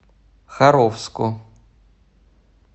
харовску